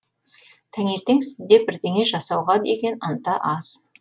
таңертең сізде бірдеңе жасауға деген ынта аз